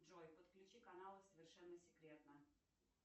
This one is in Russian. джой подключи канал совершенно секретно